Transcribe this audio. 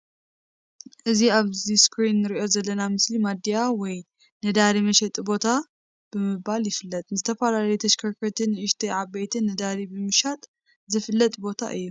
እዚ ኣብ እስክሪን እንሪኦ ዘለና ምስሊ ማድያ ወይ ነዳዲ መሸጢ ቦታ ብምባል ይፍለጥ። ንዝተፈላለዩ ተሽከርከርቲ ኣናእሽተይ ዓበይትን ነዳዲ ብ ምሻጥ ዝፍለጥ ቦታ እዩ ።